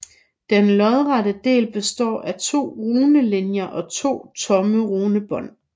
Den lodrette del består af to runelinjer og to tomme runebånd